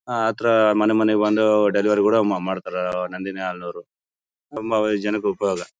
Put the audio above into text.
ಆ ತರ ಮನೆ ಮನೆಗೆ ಬಂದು ಡೆಲಿವರಿ ಕೂಡ ಮಾಡ್ತಾರೆ ನಂದಿನಿ ಹಾಲಿನವರು ತುಂಬಾ ಜನಕ್ಕೆ ಉಪಯೋಗ .